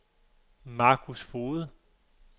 Marcus Foged